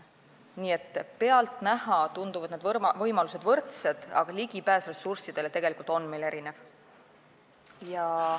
Nii et pealtnäha tunduvad võimalused võrdsed, aga ligipääs ressurssidele on meil tegelikult erinev.